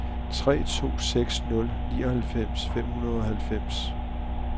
tre to seks nul nioghalvfems fem hundrede og halvfems